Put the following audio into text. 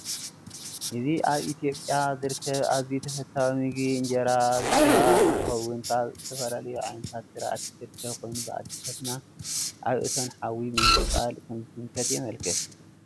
እዚ አብ ኢትዮጵያ ዝርከብ አዝዩ ተፈታዊ ምግቢ እንጀራ ዝበሃል እንትኸውን ካብ ዝተፈላለዩ ዓይነታት ዝርአቲ ዝርከብ ኮይኑ ብአዶታትና አብ እቶን ሐዊ ብምቅፃል ከምዝስንከት የመላክት።